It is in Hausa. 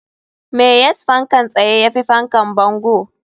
Me yas fankan tsaye yafi fankan bango?